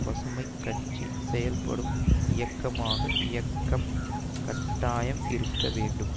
பசுமை கட்சி செயல்படும் இயக்கமாக இயக்கம் கட்டாயம் இருக்க வேண்டும்